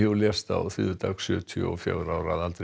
lést á þriðjudag sjötíu og fjögurra ára að aldri